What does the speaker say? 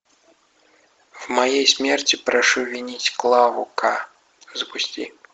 в моей смерти прошу винить клаву к запусти